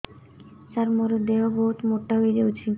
ସାର ମୋର ଦେହ ବହୁତ ମୋଟା ହୋଇଯାଉଛି